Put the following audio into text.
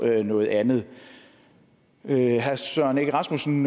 noget andet herre søren egge rasmussen